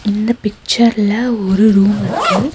இந்த பிச்சர்ல ஒரு ரூம் இருக்கு.